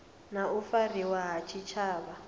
na u fariwa ha tshitshavha